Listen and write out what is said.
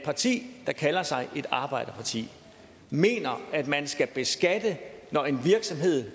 parti der kalder sig et arbejderparti mener at man skal beskatte når en virksomhed